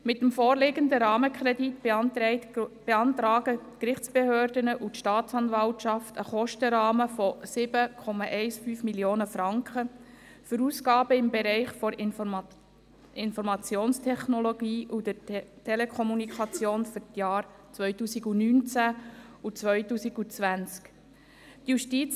Mit dem vorliegenden Rahmenkredit beantragen die Gerichtsbehörden und die Staatsanwaltschaft einen Kostenrahmen von 7,15 Mio. Franken für Ausgaben im Bereich der Informationstechnologie und der Telekommunikation für die Jahre 2019 und 2020.